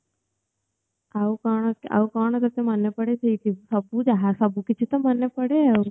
ଆଉ କଣ ଆଉ କଣ ତତେ ମନେ ପଡ଼େ ସେଇଠି ସବୁ ଯାହା ସବୁ କିଛି ତ ମନେ ପଡ଼େ ଆଉ